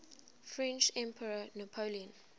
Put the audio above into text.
french emperor napoleon